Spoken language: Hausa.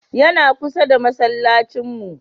Yana kusa da masallacin mu.